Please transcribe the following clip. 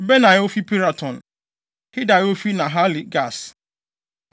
Benaia a ofi Piraton; Hidai a ofi Nahale-Gaas;